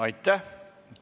Aitäh!